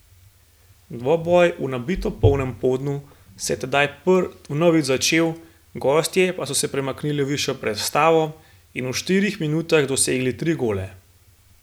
Dvoboj v nabito polnem Podnu se je tedaj vnovič začel, gostje pa so premaknili v višjo prestavo in v štirih minutah dosegli tri gole.